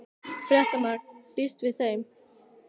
Fréttamaður: Býstu við þeim?